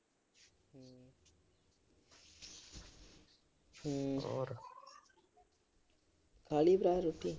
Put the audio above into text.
ਹੂੰ, ਹੋਰ। ਖਾ ਲਈ ਭਰਾ ਰੋਟੀ।